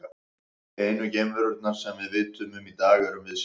Einu geimverurnar sem við vitum um í dag erum við sjálf.